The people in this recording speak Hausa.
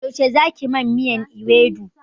Yaushe za ki man miyan ewedu?